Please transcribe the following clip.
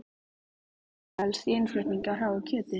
Hvaða áhætta felst í innflutningi á hráu kjöti?